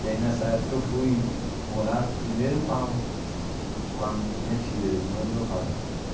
E aí, nessa época, eu fui morar primeiro com com a minha tia, irmã do meu pai.